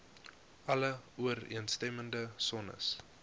alle ooreenstemmende sones